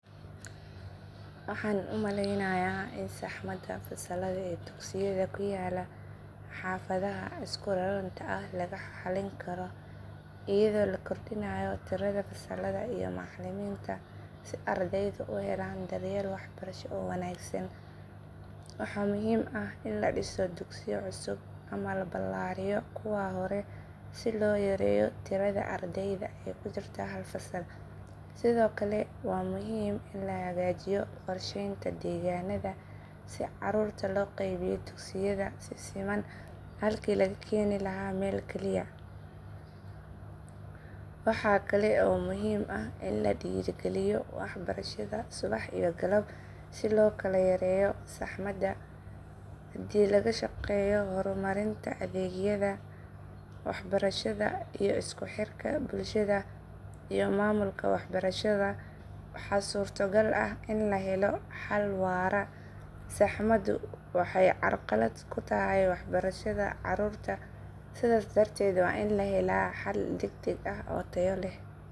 Waxaan u malaynayaa in saxmada fasallada ee dugsiyada ku yaal xaafadaha isku raranta ah lagu xalin karo iyadoo la kordhiyo tirada fasallada iyo macallimiinta si ardaydu u helaan daryeel waxbarasho oo wanaagsan. Waxaa muhiim ah in la dhiso dugsiyo cusub ama la ballaariyo kuwa hore si loo yareeyo tirada ardayda ee ku jirta hal fasal. Sidoo kale waa muhiim in la hagaajiyo qorsheynta deegaannada si caruurta loo qaybiyo dugsiyada si siman halkii laga keeni lahaa meel kaliya. Waxaa kale oo muhiim ah in la dhiirrigeliyo waxbarashada subax iyo galab si loo kala yareeyo saxmada. Haddii laga shaqeeyo horumarinta adeegyada waxbarashada iyo isku xirka bulshada iyo maamulka waxbarashada waxa suurto gal ah in la helo xal waara. Saxmadu waxay carqalad ku tahay waxbarashada caruurta sidaas darteed waa in la helaa xal degdeg ah oo tayo leh.